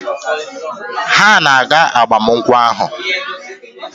Ha na-aga agbamakwụkwọ ahụ?